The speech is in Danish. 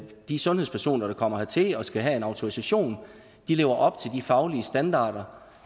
de sundhedspersoner der kommer hertil og skal have en autorisation lever op til de faglige standarder